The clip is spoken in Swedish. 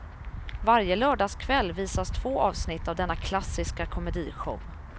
Varje lördagskväll visas två avsnitt av denna klassiska komedishow.